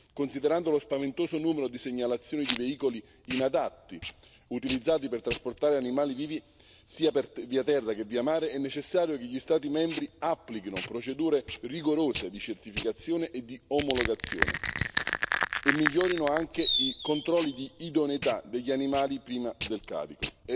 Considerando lo spaventoso numero di segnalazioni di veicoli inadatti, utilizzati per trasportare animali vivi, sia via terra che via mare, è necessario che gli Stati membri applichino procedure rigorose di certificazione e di omologazione, e migliorino anche i controlli di idoneità degli animali prima del carico.